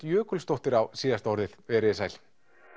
Jökulsdóttir á síðasta orðið veriði sæl